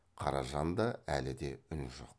қаражанда әлі де үн жоқ